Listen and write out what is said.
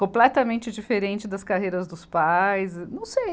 Completamente diferente das carreiras dos pais, não sei.